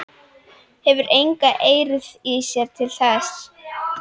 Hefur enga eirð í sér til þess.